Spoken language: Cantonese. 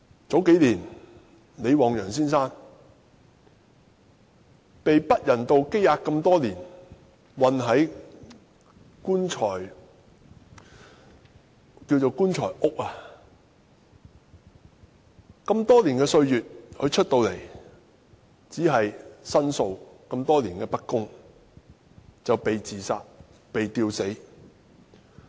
數年前，李旺陽先生被不人道羈押多年，被囚禁於所謂的"棺材屋"。他出來後只是申訴多年來的不公，就"被自殺、被吊死"。